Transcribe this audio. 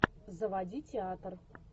заводи театр